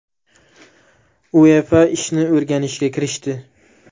UEFA ishni o‘rganishga kirishdi.